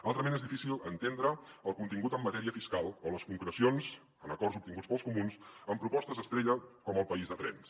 altrament és difícil entendre el contingut en matèria fiscal o les concrecions en acords obtinguts pels comuns amb propostes estrella com el país de trens